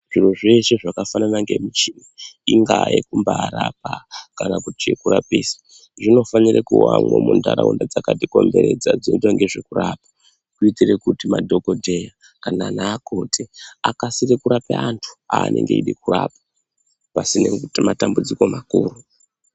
Zviro zveshe zvakafanana ngemichini ingaa yekumba yekurapa kana kuti chekurapisa. Inofanira kuvamwo munharaunda dzakati komberedza dzinoite nezvekurapa. Kuitire kuti madhogodheya kana naakoti akasire kurapa antu aanenge aeda kurapa pasine matambudziko makuru.